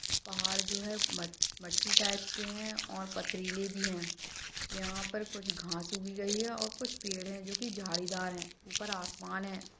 पहाड़ जो ही म मट्टी टाइप की है और पथरीले भी है यहाँ पर कुछ घास उगी गई है और कुछ पेड़ है जो की झाड़ीदार है ऊपर आसमान है।